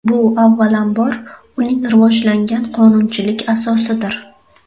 Bu, avvalambor, uning rivojlangan qonunchilik asosidir.